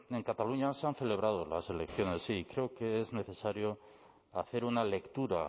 en cataluña se han celebrado las elecciones sí y creo que es necesario hacer una lectura